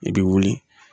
I bɛ wuli